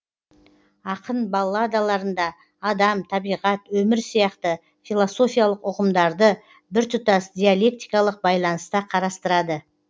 ақын балладаларында адам табиғат өмір сияқты философиялық ұғымдарды біртұтас диалектикалық байланыста қарастырады